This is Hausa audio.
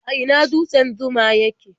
A ina dutsen Zuma yake?